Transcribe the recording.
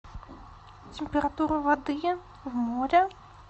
температура воды в море